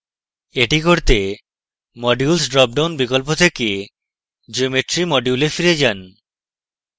এটি করতে modules drop down বিকল্প থেকে geometry module এ ফিরে যান